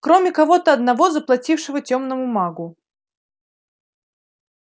кроме кого-то одного заплатившего тёмному магу